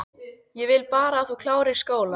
Ég vil bara að þú klárir skólann